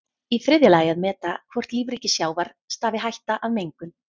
Í þriðja lagi að meta hvort lífríki sjávar stafi hætta af mengun.